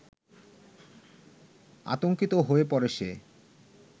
আতঙ্কিত হয়ে পড়ে সে